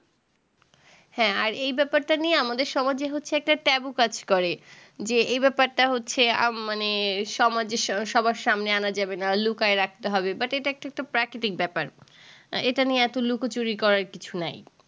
হ্যাঁ আর এই ব্যাপার টা নিয়ে আমাদের সমাজে হচ্ছে একটা taboo কাজ করে যে এই ব্যাপার টা হচ্ছে মানে আম মানে সমাজে সবার সামনে আনা যাবে না লুকায়ে রাখতে হবে but এটা একটা প্রাকৃতিক ব্যাপার আ এটা নিয়ে এতো লুকোচুরি করার কিছু নাই